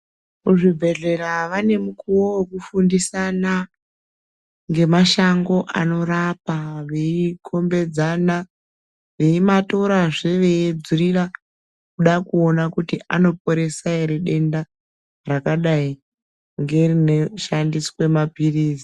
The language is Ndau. Kuzvibhedhlera vane mukuwo wekufundisana, ngemashango anorapa, veikhombedzana, veimatorazve veiedzurira kuda kuona kuti anoporesa ere denda rakadayi ngerineshandiswe maphirizi.